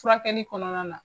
Furakɛli kɔnɔna na.